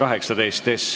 Istungi lõpp kell 12.05.